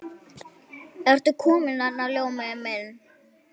Ertu kominn þarna, Ljómi minn.